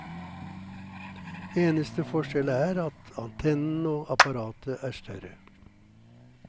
Eneste forskjell er at antennen og apparatet er større.